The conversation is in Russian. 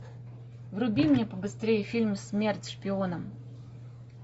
вруби мне побыстрее фильм смерть шпионам